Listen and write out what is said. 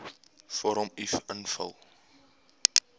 vorm uf invul